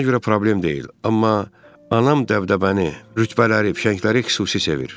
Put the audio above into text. Mənə görə problem deyil, amma anam dəbdəbəni, rütbələri, fişəngləri xüsusi sevir.